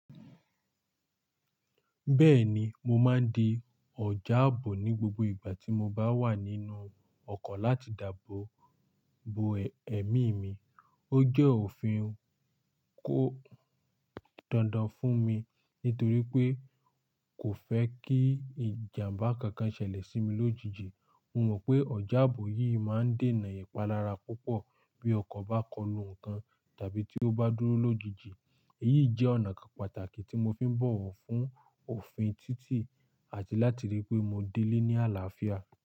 Bẹ́ẹ̀ni, mo máa ń di ọjà ààbò ní gbogbo ìgbà tí mo bá wà nínú ọkọ̀ láti dàbọ̀ bo ẹ̀mí mi. Ó jẹ́ òfin kó dandan fún mi nítorí pé kò fẹ́ kí ìjàmbá kankan ṣẹlẹ̀ sí mi lójijì. Mo mọ̀ pé ọjà ààbò yìí máa ń dènà ìpalarà lára púpọ̀ bí ọkọ̀ bá kọlu nǹkan tàbí tí ó bá dúró lójijì. Èyí jẹ́ ọ̀nà kan pàtàkì tí mo fi ń bọ̀wọ̀ fún òfin títì àti láti rí pé mo dé lé ní àlàáfíà.